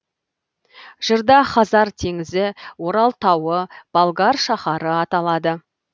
жырда хазар теңізі орал тауы болгар шаһары аталады